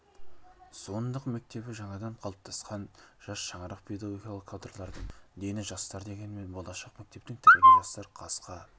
суындық мектебі жаңадан қалыптасқан жас шаңырақ педагогикалық кадрлардың дені жастар дегенмен болашақ мектептің тірегі жастар жасқа